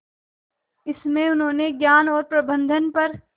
इसमें उन्होंने ज्ञान और प्रबंधन पर